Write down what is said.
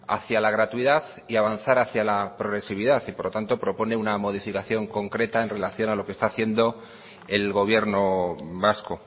hacia la gratuidad y avanzar hacia la progresividad y por lo tanto propone una modificación concreta en relación a lo que está haciendo el gobierno vasco